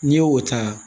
N'i y'o ta